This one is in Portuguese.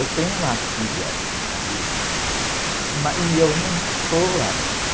Eu tenho uma filha assim, a, mas, e eu não sou assim.